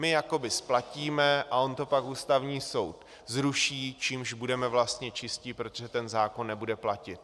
My jakoby splatíme a on to pak Ústavní soud zruší, čímž budeme vlastně čistí, protože ten zákon nebude platit.